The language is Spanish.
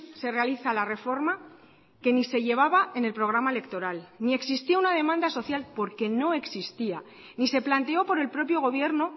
se realiza la reforma que ni se llevaba en el programa electoral ni existía una demanda social porque no existía ni se planteó por el propio gobierno